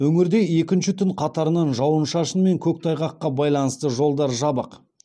өңірде екінші түн қатарынан жауын шашын мен көктайғаққа байланысты жолдар жабық